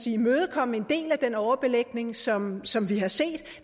imødekomme en del af den overbelægning som som vi har set